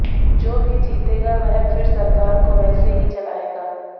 जो भी जीतेगा वह फि र सरकार को वैसे ही चलाएगा